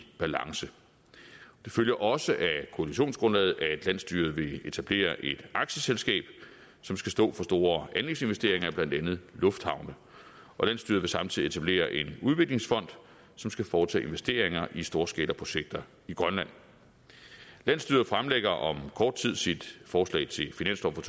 balance det følger også af koalitionsgrundlaget at landsstyret vil etablere et aktieselskab som skal stå for store anlægsinvesteringer i blandt andet lufthavne og landsstyret vil samtidig etablere en udviklingsfond som skal foretage investeringer i storskalaprojekter i grønland landsstyret fremlægger om kort tid sit forslag til finanslov for